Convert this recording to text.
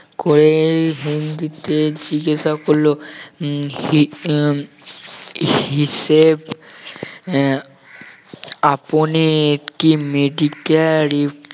করে হিন্দিতে জিজ্ঞাসা করল উম সি উম হিসেবে আহ আপনি কি medical